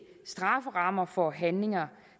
strafferammer for handlinger